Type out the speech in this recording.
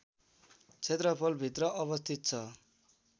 क्षेत्रफल भित्र अवस्थित छ